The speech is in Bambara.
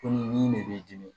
Ko nin de b'i dimi